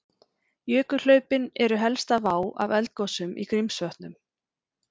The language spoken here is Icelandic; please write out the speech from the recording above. Jökulhlaupin eru helsta vá af eldgosum í Grímsvötnum.